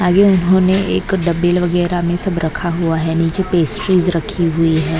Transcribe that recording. आगे उन्होंने एक डबल वगैरह में सब रखा हुआ है नीचे पेस्ट्रीज रखी हुई है।